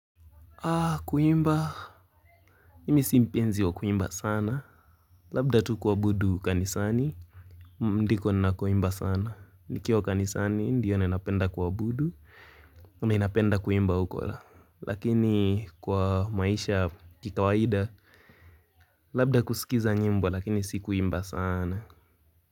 Aa kuimba, mimi si mpenzi wa kuimba sana. Labda tu kwabudu kanisani, ndiko ninako imba sana. Nikiwa kanisani, ndio nina penda kwabudu, ninapenda kuimba uko. Lakini kwa maisha ya kikawaida, labda kusikiza nyimbo lakini si kuimba sana.